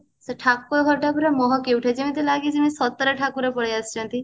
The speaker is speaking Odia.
ସେ ଠାକୁର ଘର ଟା ପୁରା ମହକି ଉଠେ ଯେମିତି ଲାଗେ ଯେମିତି ସତରେ ଠାକୁର ସତରେ ଠାକୁର ପଳେଈ ଆସିଛନ୍ତି